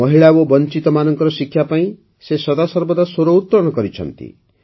ମହିଳା ଓ ବଞ୍ôଚତମାନଙ୍କର ଶିକ୍ଷା ପାଇଁ ସେ ସଦାସର୍ବଦା ସ୍ୱର ଉତ୍ତୋଳନ କରିଛନ୍ତି